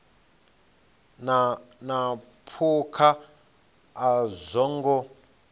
na phukha a zwo ngo